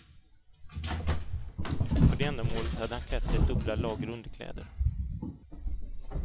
För det ändamålet hade han klätt sig i dubbla lager underkläder.